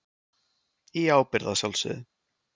Í ábyrgð að sjálfsögðu.